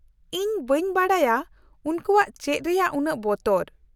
-ᱤᱧ ᱵᱟᱹᱧ ᱵᱟᱰᱟᱭᱟ ᱩᱱᱠᱩᱣᱟᱜ ᱪᱮᱫ ᱨᱮᱭᱟᱜ ᱩᱱᱟᱹᱜ ᱵᱚᱛᱚᱨ ᱾